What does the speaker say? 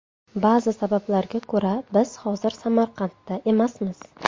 Ba’zi sabablarga ko‘ra biz hozir Samarqandda emasmiz.